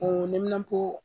Ɔɔ neminanpo